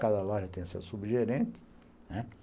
Cada loja tinha seu subgerente, né.